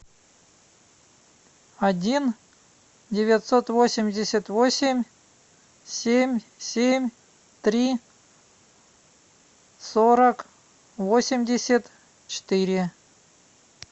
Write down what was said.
один девятьсот восемьдесят восемь семь семь три сорок восемьдесят четыре